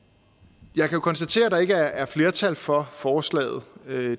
jeg kan jo konstatere at der ikke er flertal for forslaget